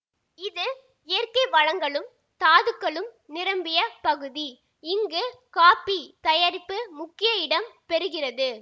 இது இயற்கை வளங்களும் தாதுக்களும் நிரம்பிய பகுதி இங்கு காப்பி தயாரிப்பு முக்கிய இடம் பெறுகிறது